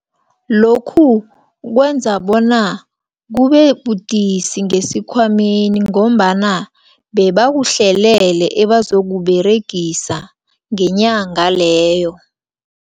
Lokhu kwenza bona kubebudisi ngesikhwameni, ngombana bebakuhlelele ebazokuberegisa ngenyanga leyo.